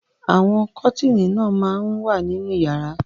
Àwọn kọ́tíínì náà máa ń wà nínú ìyàrá.